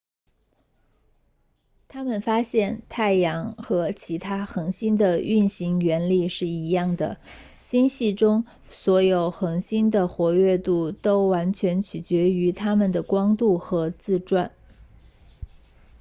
他们发现太阳和其他恒星的运行原理是一样的星系中所有恒星的活跃度都完全决定于它们的光度和自转